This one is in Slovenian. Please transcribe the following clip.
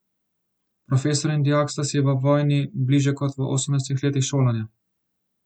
Profesor in dijak sta si v vojni bliže kot v osemnajstih letih šolanja.